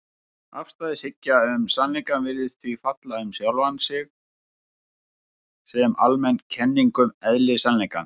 Afstæðishyggja um sannleikann virðist því falla um sjálfa sig sem almenn kenning um eðli sannleikans.